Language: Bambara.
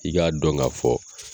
I k'a dɔn ka fɔ